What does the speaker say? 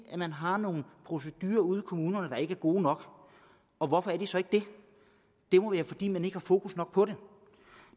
man har nogle procedurer ude i kommunerne der ikke er gode nok og hvorfor er de så ikke det det må være fordi man ikke har fokus nok på det